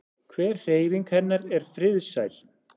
Hver hreyfing hennar er friðsæl.